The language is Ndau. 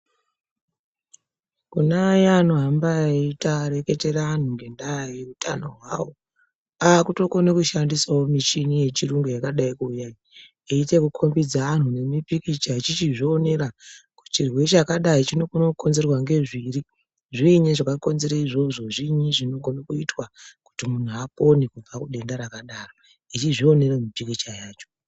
Kuna aya anohamba eita eireketera antu ngendaa yekutano hwavo akutokonawo kushandisa muchini yechiyungu yakadai kuuya eikombidza vantu mipikicha achizvionera kuti chirwere chakadai chinokona kukonzerwa nezviri, zviinyi zvakakonzera izvozvo, zviinyi zvinogona kuitwa kuti muntu apone kubva kudenda rakadaro echizvionera mipikicha yacho.